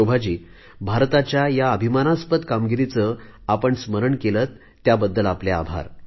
शोभाजी भारताच्या या अभिमानस्पद कामगिरीचे आपण स्मरण केले याबद्दल आपले आभार